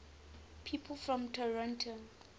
people from toronto